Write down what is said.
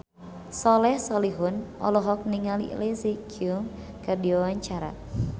Soleh Solihun olohok ningali Leslie Cheung keur diwawancara